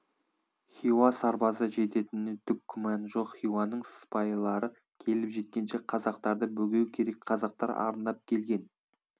хиуа сарбазы жететініне түк күмәні жоқ хиуаның сыпайылары келіп жеткенше қазақтарды бөгеу керек қазақтар арындап келген